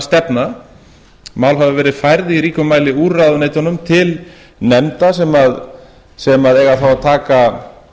stefna mál hafa verið færð í ríkum mæli úr ráðuneytunum til nefnda sem eiga þá að taka